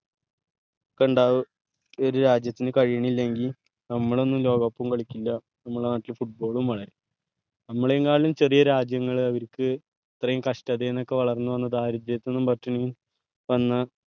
ക്കണ്ടാവ ഒരു രാജ്യത്തിന് കഴീനില്ലെങ്കിൽ നമ്മൾ ഒന്നും ലോക cup ഉം കളിക്കില്ല നമ്മളെ നാട്ടിൽ football ഉം വളരില്ല നമ്മളേം കാളും ചെറിയ രാജ്യങ്ങളെ അവരിക്ക് ഇത്രേം കഷ്ടതെന്ന് ഒക്കെ വളർന്ന് വന്ന് ദാരിദ്ര്യതീന്നും പട്ടിണിന്നും വന്ന